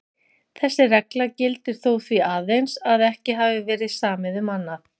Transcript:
Þessi regla gildir þó því aðeins að ekki hafi verið samið um annað.